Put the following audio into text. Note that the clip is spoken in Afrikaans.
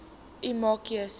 maak u keuse